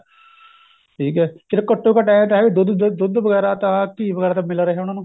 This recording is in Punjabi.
ਠੀਕ ਏ ਫੇਰ ਘੱਟੋ ਘੱਟ ਇਹ ਤਾਂ ਹੈ ਵੀ ਦੁੱਧ ਦੁੱਧ ਵਗੈਰਾ ਤਾਂ ਘੀ ਵਗੈਰਾ ਤਾਂ ਮਿਲ ਰਿਹਾ ਉਹਨਾ ਨੂੰ